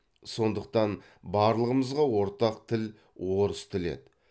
сондықтан барлығымызға ортақ тіл орыс тілі еді